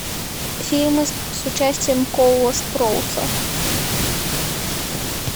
фильмы с участием коула спроуса